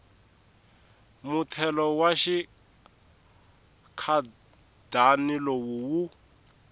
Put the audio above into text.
muthelo wa xinkadyana lowu wu